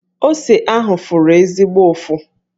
Ose ahụ fụrụ ezigbo ụfụ.